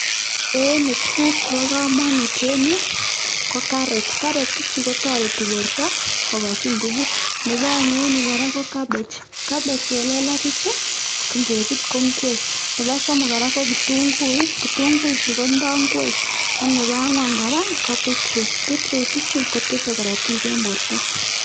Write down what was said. En yuu tukuk chebokomonut en yuu ko karot, karot ichu kotoreti borto kokochi ngubut nebo oeng en yuu kora ko cabbage, cabbage chelelach ichuu ko ngebut ko ing'wek, nebo somok kora ko kitung'uik, kitung'uichu kindo ngwek ak nebo ang'wan kora ko bitroot, bitroot ichuu ko tese korotik en borto.